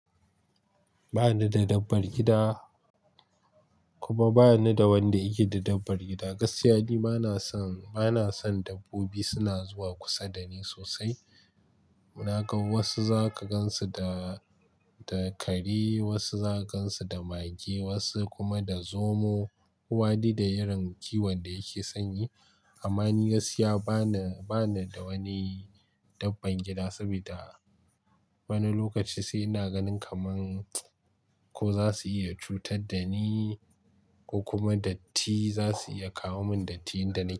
Ba ni da dabbar gida kuma ba ni da wanda yake da dabbar gida. Gaskiya ni bana son dabbobi suna zuwa kusa da ni sosai. Na ga wasu za ka gan su da da kare, wasu za ka gan su da mage, wasu kuma da zomo. Wani da irin kiwon da yake san yi. Amma ni gaskiya bana da wani dabbar gida saboda wani lokaci sai na ganin kaman ko za su iya cutar da ni ko kuma dattii za su iya kawo mun dattii da na yi.